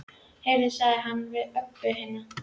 Heyrðu, sagði hann við Öbbu hina.